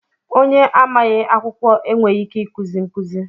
Onye amaghị akwụkwọ enweghị ike ikuzi nkụzi